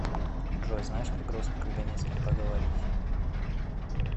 джой знаешь как грустно когда не с кем поговорить